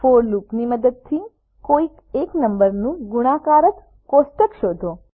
four લુપની મદદથી કોઈ એક નમ્બરનું ગુણાકાર કોષ્ટક શોધો